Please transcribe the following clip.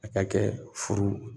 A ka kɛ furu